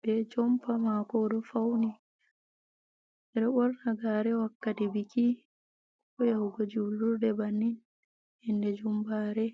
be jompa mako oɗo fauni ɓeɗo ɓorna gare wakkati biki, ko yahugo julurde bannin yande jumɓare.